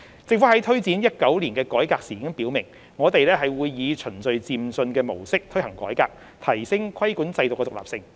政府在推展2019年改革時已表明，我們會以循序漸進的模式推行改革，提升規管制度的獨立性。